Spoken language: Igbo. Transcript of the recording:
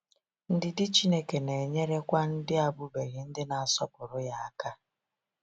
Ndidi Chineke na-enyerekwa ndị abụbeghị ndị na-asọpụrụ ya aka.